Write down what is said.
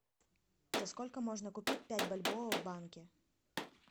за сколько можно купить пять бальбоа в банке